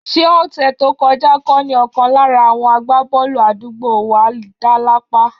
Ṣé ọ̀sẹ̀ tó kọjá kọ́ ni ọ̀kan lára àwọn àgbábọ́ọ̀lù àdúgbò wa dá lápá?